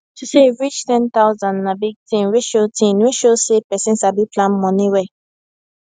to save reach 10000 na big thing wey show thing wey show say person sabi plan money well